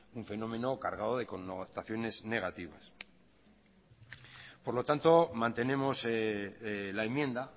un fenómeno cargado connotaciones negativas por lo tanto mantenemos la enmienda